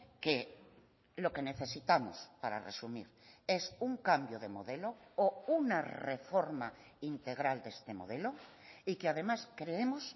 que lo que necesitamos para resumir es un cambio de modelo o una reforma integral de este modelo y que además creemos